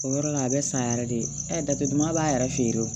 O yɔrɔ la a bɛ san yɛrɛ de jate duguma b'a yɛrɛ feere o